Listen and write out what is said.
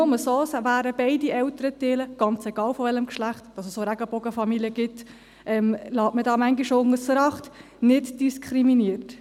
Nur so wären beide Elternteile, ganz egal welchen Geschlechts – dass es auch Regenbogenfamilien gibt, wird manchmal ausser Acht gelassen – nicht diskriminiert.